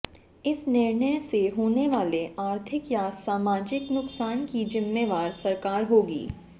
इस निर्णय से होने वाले आर्थिक या सामाजिक नुकसान की जिम्मेवार सरकार होगी